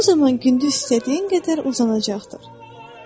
O zaman gündüz istədiyin qədər uzanacaqdır.